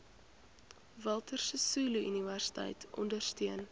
walter sisuluuniversiteit ondersteun